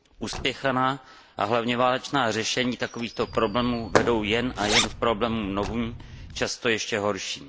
Uspěchaná a hlavně válečná řešení takovýchto problémů vedou jen a jen k problémům novým, často ještě horším.